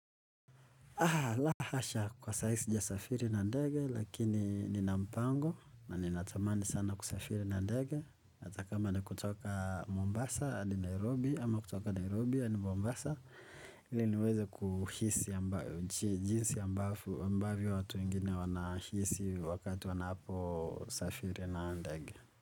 Aah la hasha kwa sahii sijasafiri na ndege lakini nina mpango na ninatamani sana kusafiri na ndege hata kama ni kutoka Mombasa hadi Nairobi ama kutoka Nairobi hadi Mombasa ili niweze kuhisi jinsi ambavyo watu wengine wanahisi wakati wanaposafiri na ndege.